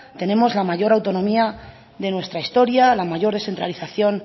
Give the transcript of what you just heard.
tenemos la mayor autonomía de nuestra historia la mayor descentralización